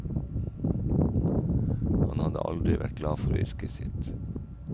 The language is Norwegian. Han hadde aldri vært glad for yrket sitt.